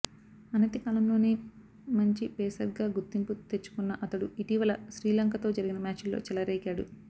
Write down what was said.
అనతి కాలంలోనే మంచి పేసర్గా గుర్తింపు తెచ్చుకున్న అతడు ఇటీవల శ్రీలంకతో జరిగిన మ్యాచుల్లో చెలరేగాడు